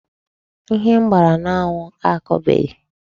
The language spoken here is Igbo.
Ihe m gbara n'anwụ akọbeghị